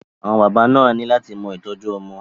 Àwọn bàbá náà ni lát mọ ìtọ́jú ọmọ.